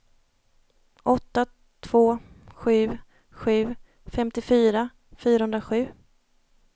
åtta två sju sju femtiofyra fyrahundrasju